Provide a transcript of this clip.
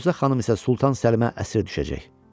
Bəhruzə xanım isə Sultan Səlimə əsir düşəcək.